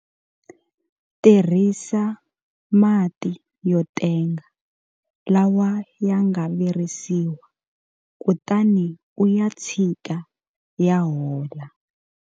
Tirhisa mati yo tenga lawa ya nga virisiwa kutani u ya tshika ya hola.